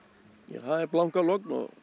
það er blanka logn og